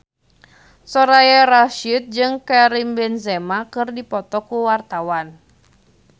Soraya Rasyid jeung Karim Benzema keur dipoto ku wartawan